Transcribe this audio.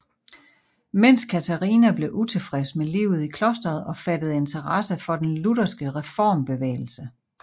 Men Katharina blev utilfreds med livet i klostret og fattede interesse for den lutherske reformbevægelse